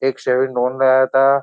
एक सेविन में आया था।